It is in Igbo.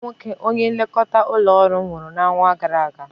Nnwanne nwoke onye nlekọta ụlọ ọrụ nwụrụ n'ọnwa gara aga.